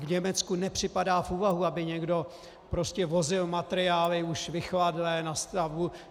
V Německu nepřipadá v úvahu, aby někdo prostě vozil materiály už vychladlé na stavbu.